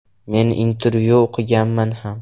Men intervyuni o‘qimaganman ham.